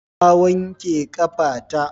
Na wake ƙafa ta.